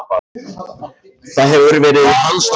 Það hefur verið í hans náttúru.